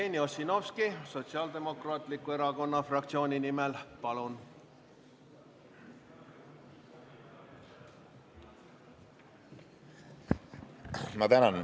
Jevgeni Ossinovski Sotsiaaldemokraatliku Erakonna fraktsiooni nimel, palun!